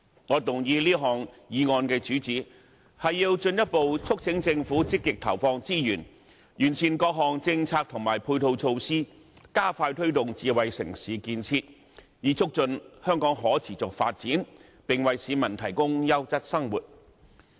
我動議此項議案的主旨，是要進一步促請政府積極投放資源，完善各項政策及配套措施，加快推動智慧城市建設，以促進香港的可持續發展，並為市民提供優質生活。